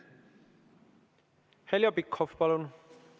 Heljo Pikhof, palun!